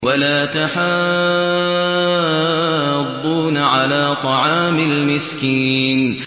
وَلَا تَحَاضُّونَ عَلَىٰ طَعَامِ الْمِسْكِينِ